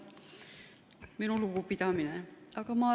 Minu lugupidamine!